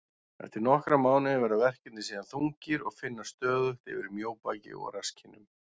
Eftir nokkra mánuði verða verkirnir síðan þungir og finnast stöðugt yfir mjóbaki og rasskinnum.